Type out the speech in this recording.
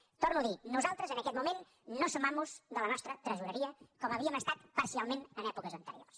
ho torno a dir nosaltres en aquest moment no som amos de la nostra tresoreria com havíem estat parcialment en èpoques anteriors